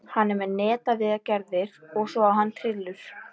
Hann er með netaviðgerðir og svo á hann trillu.